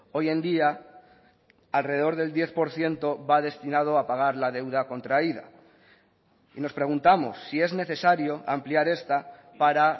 hoy en día alrededor del diez por ciento va destinado a pagar la deuda contraída y nos preguntamos si es necesario ampliar esta para